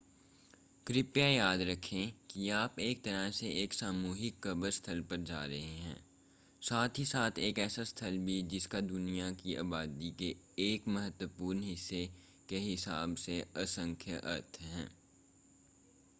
कृपया याद रखें कि आप एक तरह से एक सामूहिक कब्र स्थल पर जा रहे हैं साथ ही साथ एक ऐसा स्थल भी जिसका दुनिया की आबादी के एक महत्वपूर्ण हिस्से के हिसाब से असंख्य अर्थ हैं